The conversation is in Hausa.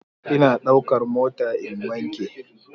Ina daukar mota in wanke.